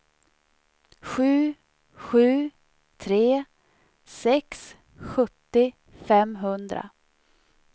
sju sju tre sex sjuttio femhundra